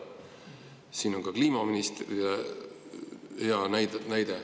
Siin on ka kliimaministrile näide.